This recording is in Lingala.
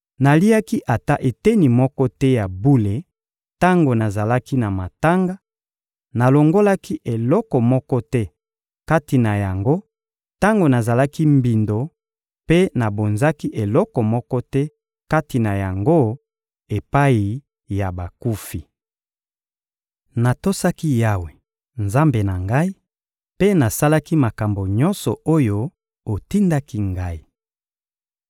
Naliaki ata eteni moko te ya bule tango nazalaki na matanga, nalongolaki eloko moko te kati na yango tango nazalaki mbindo mpe nabonzaki eloko moko te kati na yango epai ya bakufi. Natosaki Yawe, Nzambe na ngai, mpe nasalaki makambo nyonso oyo otindaki ngai.